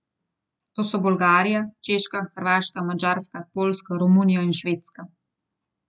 To so Bolgarija, Češka, Hrvaška, Madžarska, Poljska, Romunija in Švedska.